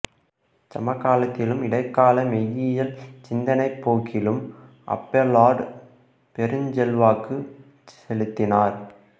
சமகாலத்திலும் இடைக்கால மெய்யியல் சிந்தனைப் போக்கிலும் அபேலார்டு பெருஞ்செல்வாக்கு செலுத்தினார்